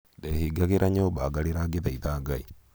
ndehingagĩra nyũmba ngarĩra ngĩthaitha Ngai